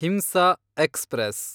ಹಿಂಸಾ ಎಕ್ಸ್‌ಪ್ರೆಸ್